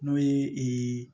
N'o ye